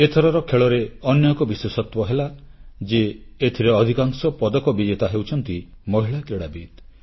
ଏଥରର ଖେଳରେ ଅନ୍ୟ ଏକ ବିଶେଷତ୍ୱ ହେଲା ଯେ ଏଥିରେ ଅଧିକାଂଶ ପଦକ ବିଜେତା ହେଉଛନ୍ତି ମହିଳା କ୍ରୀଡ଼ାବିତ